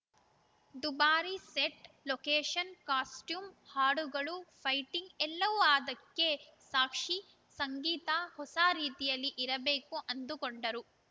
ದುಬಾರಿ set location costume ಹಾಡುಗಳು fighting ಎಲ್ಲವೂ ಅದಕ್ಕೆ ಸಾಕ್ಷಿ ಸಂಗೀತ ಹೊಸ ರೀತಿಯಲ್ಲಿ ಇರಬೇಕು ಅಂದುಕೊಂಡರು